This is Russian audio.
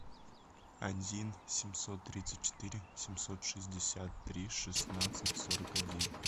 один семьсот тридцать четыре семьсот шестьдесят три шестнадцать сорок один